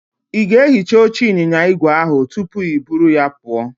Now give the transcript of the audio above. Ị ga-ehicha oche ịnyịnya igwe ahụ tupu i buru ya pụọ?